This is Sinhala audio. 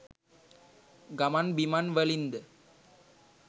ගමන්බිමන් වලින්ද